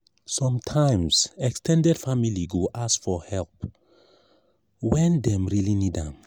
sometimes ex ten ded family go ask for help when dem really need am.